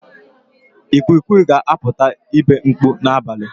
Ikwikwi ga-apụta ibe mkpu n'abalị.